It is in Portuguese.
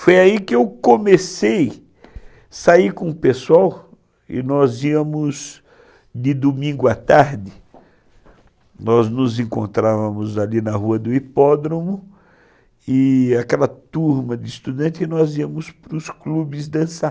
Foi aí que eu comecei a sair com o pessoal e nós íamos de domingo à tarde, nós nos encontrávamos ali na rua do hipódromo, e aquela turma de estudantes, nós íamos para os clubes dançar.